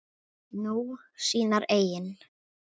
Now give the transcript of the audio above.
Nú, sínar eigin.